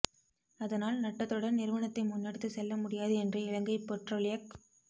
அதனால் நட்டத்துடன் நிறுவனத்தை முன்னெடுத்துச் செல்ல முடியாது என்று இலங்கை பெற்றோலியக்